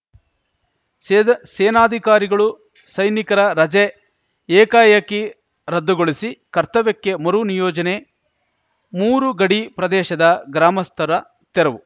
ಸೇದಾ ಸೇನಾಧಿಕಾರಿಗಳು ಸೈನಿಕರ ರಜೆ ಏಕಾಏಕಿ ರದ್ದುಗೊಳಿಸಿ ಕರ್ತವ್ಯಕ್ಕೆ ಮರು ನಿಯೋಜನೆ ಮೂರು ಗಡಿ ಪ್ರದೇಶದ ಗ್ರಾಮಸ್ಥರ ತೆರವು